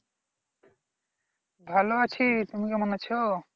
ভালো আছি তুমি কেমন আছো?